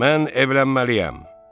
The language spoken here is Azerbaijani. Mən evlənməliyəm.